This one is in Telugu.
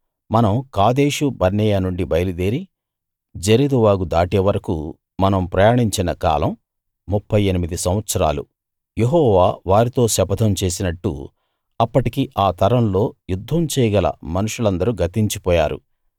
మనం కాదేషు బర్నేయ నుండి బయలుదేరి జెరెదు వాగు దాటే వరకూ మనం ప్రయాణించిన కాలం 38 సంవత్సరాలు యెహోవా వారితో శపథం చేసినట్టు అప్పటికి ఆ తరంలో యుద్ధం చేయగల మనుషులందరూ గతించిపోయారు